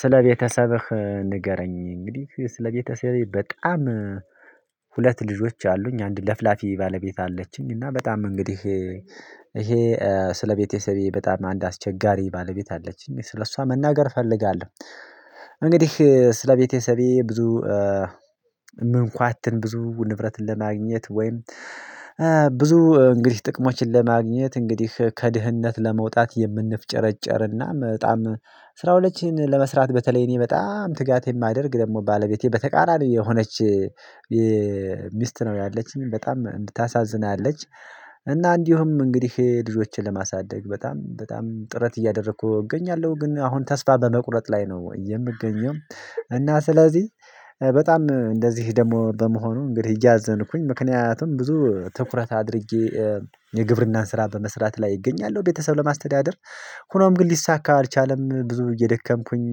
ስለ ቤተሰብህ ንገረኝ? እንግዲህ ስለ ቤተሰቤ በጣም ሁለት ልጆች አሉኝ። አንድ ለፍላፊ ባለቤት አለችኝ። እና በጣም እንግዲህ ይሄ ስለቤተሰቤ በጣም አንድ አስቸጋሪ ባለቤት አለችኝ ስለሷ መናገር እፈልጋለሁ። እንግዲህ ስለቤተሰቤ ብዙ ምንኳትን ብዙ ንብረትን ለማግኘት ወይም ብዙ እንግዲህ ጥቅሞችን ለማግኘት እንግዲህ ከድህነት ለመውጣት የምንፍጨረጨርና በጣም ስራዎችን ለመስራት በተለይ እኔ በጣም ትጋት የማደርግ ደግሞ ባለቤቴ በተቃራኒ የሆነች ሚስት ነው ያለችኝ በጣም እንድታሳዝናለች። እና እንዲሁም እንግዲህ ልጆችን ለማሳደግ በጣም በጣም ጥረት እያደረኩ እገኛለሁ ግን አሁን ተስፋ በመቁረጥ ላይ ነው የምገኘው። እና ስለዚህ በጣም እንደዚህ ደግሞ በመሆኑ እንግዲህ እያዘንኩኝ ምክንያቱም ብዙ ትኩረት አድርጌ የግብርናን ስራ በመስራት ላይ እገኛለሁ ቤተሰብ ለማስተዳደር። ሆኖም ግን ሊሳካ አልቻለም ብዙ እየደከምኩኝ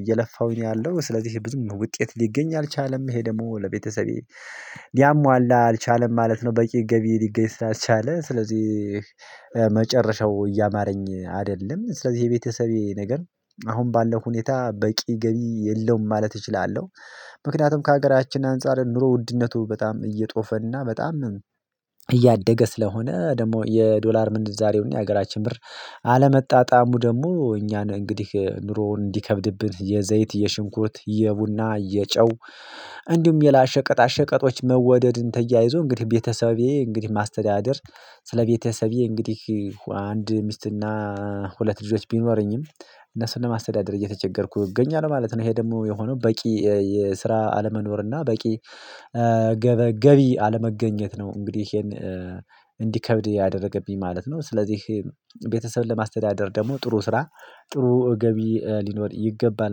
እየለፋሁኝ ያለው ስለዚህ ይሄ ብዙ ውጤት ሊገኝ አልቻለም ይሄ ደግሞ ለቤተሰቤ ሊያሟላ አልቻለም ማለት ነው። በቂ ገቢ ሊገኝ ስላልቻለ ስለዚህ መጨረሻው እያማረኝ አይደለም ስለዚህ የቤተሰቤ ነገር አሁን ባለው ሁኔታ በቂ ገቢ የለውም ማለት እችላለሁ። ምክንያቱም ከሀገራችን አንፃር ኑሮ ውድነቱ በጣም እየጦፈ እና በጣም እያደገ ስለሆነ ደግሞ የዶላር ምንዛሬውን የሀገራችን ብር አለመጣጣሙ ደግሞ እኛን እንግዲህ ኑሮውን እንዲከብድብን የዘይት የሽንኩርት የቡና የጨው እንዲሁም ሌላ ሸቀጣ ሸቀጦች መወደድን ተያይዞ እንግዲህ ቤተሰቤ እንግዲህ ማስተዳደር። ስለ ቤተሰቤ እንግዲህ አንድ ሚስትና ሁለት ልጆች ቢኖሩኝም እነሱን ለማስተዳደር እየተቸገርኩ እገኛለሁ ማለት ነው። ይሄ ደግሞ የሆነው በቂ የስራ አለመኖር እና በቂ ገበ ገቢ አለመገኘት ነው እንግዲህ ይሄን እንዲከብድ ያደረገብኝ ማለት ነው። ስለዚህ ቤተሰብን ለማስተዳደር ደግሞ ጥሩ ስራ ጥሩ ገቢ ሊኖር ይገባል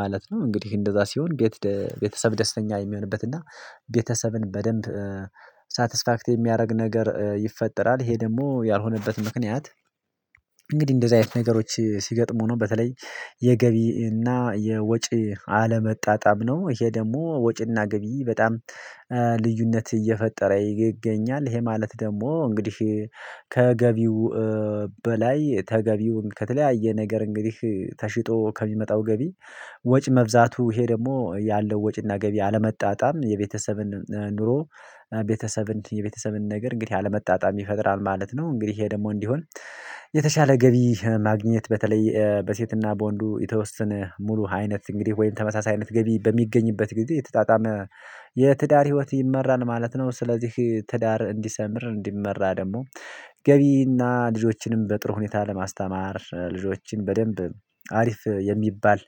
ማለት ነው። እንግዲህ እንደዛ ሲሆን ቤት ቤተሰብ ደስተኛ የሚሆንበት እና ቤተሰብን በደንብ ሳትስፋክት የሚያደርግ ነገር ይፈጠራል። ይሄ ደግሞ ያልሆነበት ምክንያት እንግዲህ እንደዚህ አይነት ነገሮች ሲገጥሙ ነው በተለይ የገቢና እና የወጪ አለመጣጣም ነው። ይሄ ደግሞ ወጪና ገቢ በጣም ልዩነት እየፈጠረ ይገኛል። ይሄ ማለት ደግሞ እንግዲህ ከገቢው በላይ ተገቢውን ከተለያየ ነገር እንግዲህ ተሽጦ ከሚመጣው ገቢ ወጪ መብዛቱ ይሄ ደግሞ ያለው ወጪና ገቢ አለመጣጣም የቤተሰብን ኑሮ ቤተሰብን የቤተሰብን ነገር እንግዲህ አለመጣጣም ይፈጥራል ማለት ነው። እንግዲህ ይሄ ደግሞ እንዲሆን የተሻለ ገቢ ማግኘት በተለይ በሴትና በወንዱ የተወሰነ ሙሉ አይነት እንግዲህ ወይም ተመሳሳይነት ገቢ በሚገኝበት ጊዜ የተጣጣመ የትዳር ህይወት ይመራል ማለት ነው። ስለዚህ ትዳር እንዲሰምር እንዲመራ ደግሞ ገቢና ልጆችንም በጥሩ ሁኔታ ለማስተማር ልጆችን በደንብ አሪፍ የሚባል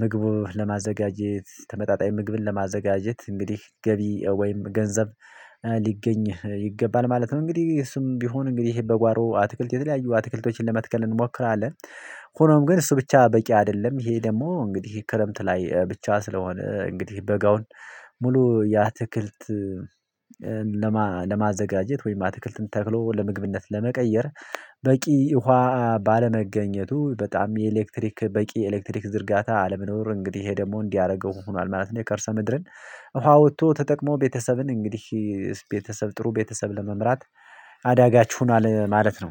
ምግቡ ለማዘጋጀት ተመጣጣኝ ምግብን ለማዘጋጀት እንግዲህ ገቢ ወይም ገንዘብ ሊገኝ ይገባል ማለት ነው እንግዲህ እሱም ቢሆን እንግዲህ በጓሮ አትክልት የተለያዩ አትክልቶችን ለመትከል እንሞክራለን። ሆኖም ግን እሱ ብቻ በቂ አይደለም። ይሄ ደግሞ እንግዲህ ክረምት ላይ ብቻ ስለሆነ እንግዲህ በጋውን ሙሉ የአትክልት ለማዘጋጀት ወይም አትክልትን ተክሎ ለምግብነት ለመቀየር በቂ ውሃ ባለመገኘቱ በጣም የኤሌክትሪክ በቂ ኤሌክትሪክ ዝርጋታ አለመኖር እንግዲህ ይሄ ደግሞ እንዲያደርገው ሆኗል ማለት ነው። የከርሰ ምድርን ውሃ አውጥቶ ተጠቅሞ ቤተሰብን እንግዲህ ቤተሰብ ጥሩ ቤተሰብ ለመምራት አዳጋች ሁኗል ማለት ነው